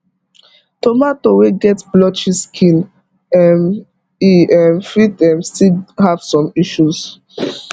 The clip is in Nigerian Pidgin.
tomato wey get blotchy skin um e um fit um still have some issues